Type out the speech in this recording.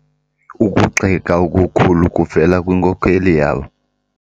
Ukugxeka okukhulu kuvele kwinkokeli yabo.